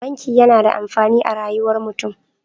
Banki yAna da amfani a rayuwar mutun